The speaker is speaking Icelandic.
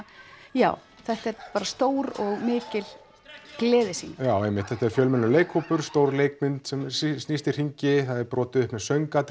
já þetta er bara stór og mikil gleðisýning einmitt þetta er fjölmennur leikhópur stór leikmynd sem snýst í hringi það er brotið upp með